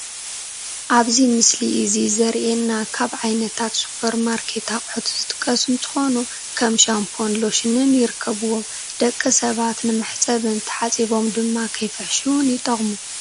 ኣብዚ ምስሊ እዚ ዘሪኤና ካብ ዓይነታት ሱፐርማርኬት ኣቕሑት ዝጥቀሱ እንትኾኑ ከም ሻምቦን ሎሽንን ይርከብዎም፡፡ ደቂ ሰባት ንመሕፀብን ተሓፂቦም ድማ ከይፍሕሽውን ይጠቕሙ፡፡